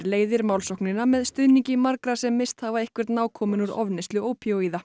leiðir málsóknina með stuðningi margra sem misst hafa einhvern nákominn úr ofneyslu ópíóíða